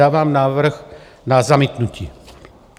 Dávám návrh na zamítnutí.